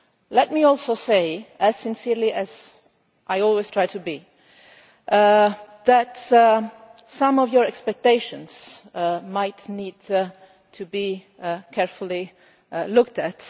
Let me also say, as sincerely as I always try to be, that some of your expectations might need to be carefully looked at.